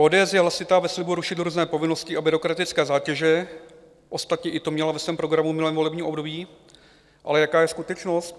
ODS je hlasitá ve slibu rušit různé povinnosti a byrokratické zátěže, ostatně i to měla ve svém programu v minulém volebním období, ale jaká je skutečnost?